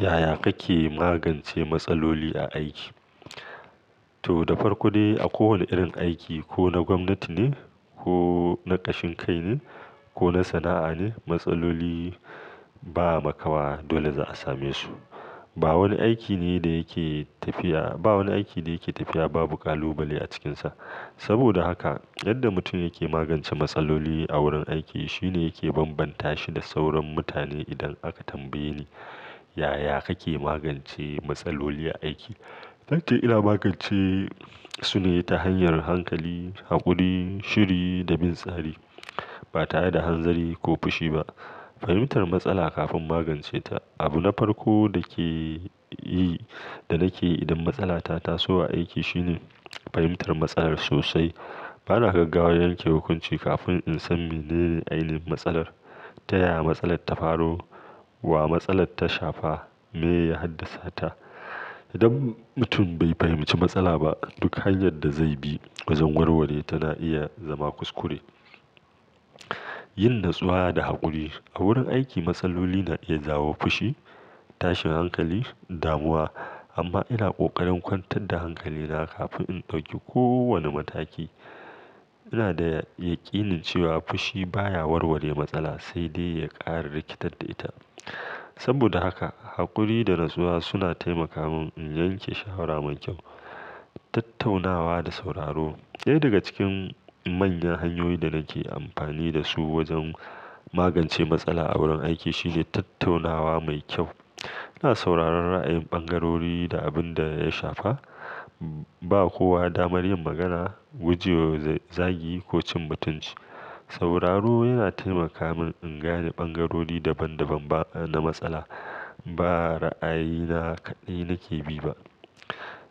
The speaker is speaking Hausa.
Yaya kake magance matsaloli a aiki? To, da farko dai a kowane irin aiki, ko na gwamnati ne, ko na ƙashin kai ne, ko na sana'a ne, matsaloli ba makawa dole za a same su. Ba wani aiki ne da yake tafiya-- ba wani aiki da yake tafiya babu ƙalubale a cikinsa. Saboda haka, yadda mutum yake magance matsaloli a wurin aiki shine yake banbanta shi da sauran mutane idan aka tambaye ni yaya kake magance matsaloli a aiki, zan ce ina magance sune ta hanyar hankali, haƙuri, shiri da bin tsari. Batare da hanzari ko fushi ba. Fahimtar matsala kafin magance ta. Abu na farko dake yi-- da nake idan matsala ta taso a aiki shine fahimtar matsalar sosai. Bana gaggawa yanke hukunci kafin insan mene ainihin matsalar, ta yaya matsalar ta faru, wa matsalar ta shafa, meya haddasa ta. Idan mutum bai fahimci matsala ba, duk hanyar da zaibi wajen warware tana iya zama kuskure. Yin natsuwa da haƙuri, A wurin aiki matsaloli na iya jawo fushi, tashin hankali, damuwa. Amma ina ƙoƙarin kwantar da hankali na kafin in ɗauki kowanne mataki. Ina da yaƙinin cewa fushi baya warware matsala, sai dai ya ƙara rikitar da ita. Saboda haka, haƙuri da natsuwa suna taimaka min in yanke shawara mai ƙyau. Tattaunawa da sauraro. Ɗaya daga cikin manyan hanyoyin da nake amfani dasu wajen magance matsala a wurin aiki shine tattaunawa mai ƙyau. Ina sauraron ra'ayin ɓangarori da abinda ya shafa. Bawa kowa damar yin magana, guje wa zagi ko cin mutunci. Sauraro yana taimaka min ingane ɓangarori daban-daban ba-- na matsala. Ba ra'ayina kaɗai nake bi ba.